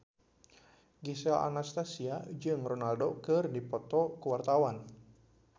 Gisel Anastasia jeung Ronaldo keur dipoto ku wartawan